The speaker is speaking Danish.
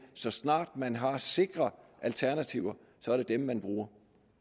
så snart man har sikre alternativer er dem man bruger